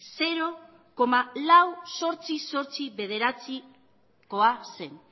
zero koma lau mila zortziehun eta laurogeita bederatzikoa zen